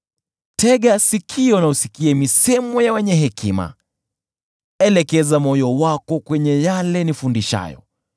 Tega sikio na usikie misemo ya wenye hekima, elekeza moyo wako kwenye yale nifundishayo,